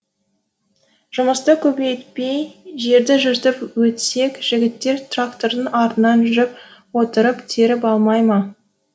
жұмысты көбейтпей жерді жыртып өтсек жігіттер трактордың артынан жүріп отырып теріп алмай ма